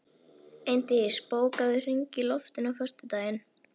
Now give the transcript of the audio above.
Eindís, bókaðu hring í golf á föstudaginn.